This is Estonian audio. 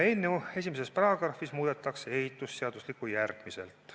Eelnõu §-s 1 muudetakse ehitusseadustikku järgmiselt.